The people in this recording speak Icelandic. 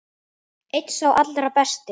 Einn sá allra besti.